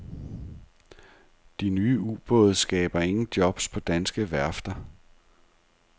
De nye ubåde skaber ingen jobs på danske værfter.